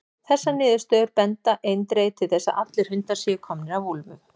Þessar niðurstöður benda eindregið til þess að allir hundar séu komnir af úlfum.